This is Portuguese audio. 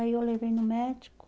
Aí eu levei no médico.